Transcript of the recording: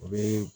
U bɛ